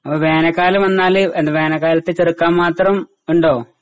അപ്പ വേനൽക്കാലം വന്നാല് എന്താ വേനൽക്കാലത്ത് ചെറുക്കാന്മാത്രം ഇണ്ടോ?